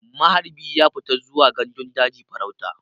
Maharbi ya fita zuwa gandun daji farauta.